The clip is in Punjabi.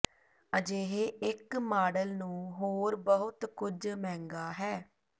ਅਜਿਹੇ ਇੱਕ ਮਾਡਲ ਨੂੰ ਹੋਰ ਬਹੁਤ ਕੁਝ ਮਹਿੰਗਾ ਹੈ